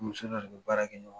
u bɛ baara kɛ ɲɔgɔn fɛ.